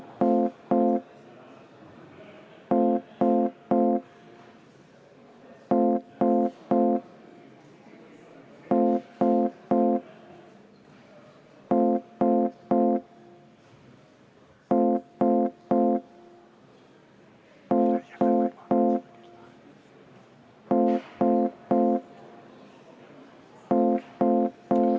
Läheme lõpphääletuse juurde.